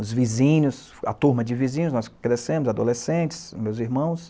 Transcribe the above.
Os vizinhos, a turma de vizinhos, nós crescemos, adolescentes, meus irmãos.